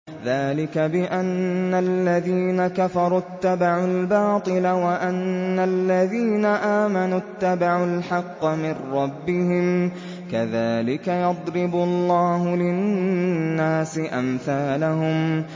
ذَٰلِكَ بِأَنَّ الَّذِينَ كَفَرُوا اتَّبَعُوا الْبَاطِلَ وَأَنَّ الَّذِينَ آمَنُوا اتَّبَعُوا الْحَقَّ مِن رَّبِّهِمْ ۚ كَذَٰلِكَ يَضْرِبُ اللَّهُ لِلنَّاسِ أَمْثَالَهُمْ